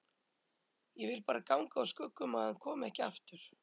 Ég vil bara ganga úr skugga um að hann komi ekki aftur